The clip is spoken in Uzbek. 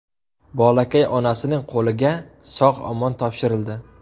Bolakay onasining qo‘liga sog‘-omon topshirildi.